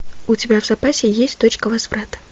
у тебя в запасе есть точка возврата